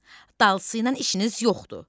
Dalsı ilə işiniz yoxdur.